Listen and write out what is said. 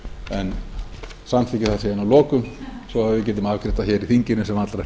en samþykki það síðan að lokum svo við getum afgreitt það í þinginu sem allra